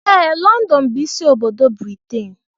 Ee London bụ ịsị obodo Britain.